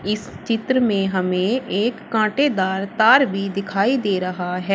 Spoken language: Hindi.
इस चित्र में हमें एक कांटेदार तार भी दिखाई दे रहा है।